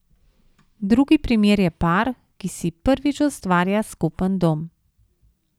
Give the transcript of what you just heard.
Drugi primer je par, ki si prvič ustvarja skupen dom.